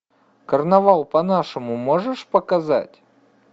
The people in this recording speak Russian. карнавал по нашему можешь показать